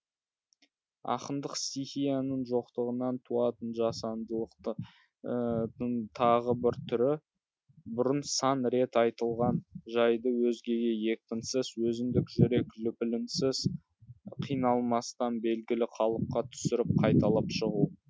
ақындық стихияның жоқтығынан туатын жасандылықтың тағы бір түрі бұрын сан рет айтылған жайды өзгеге екпінсіз өзіндік жүрек лүпілінсіз қиналмастан белгілі қалыпқа түсіріп қайталап шығу